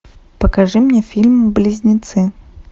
покажи мне фильм близнецы